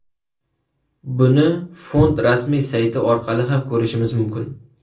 Buni fond rasmiy sayti orqali ham ko‘rishimiz mumkin.